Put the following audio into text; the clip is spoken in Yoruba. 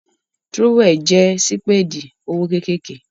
Tírówẹ̀l jẹ́ sípèdì ọwọ́ kékèké